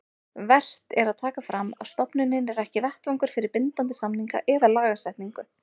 Vert er að taka fram að stofnunin er ekki vettvangur fyrir bindandi samninga eða lagasetningu.